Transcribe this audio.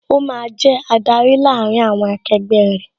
Ó máa jẹ adarí láàárín àwọn akegbẹ́ rẹ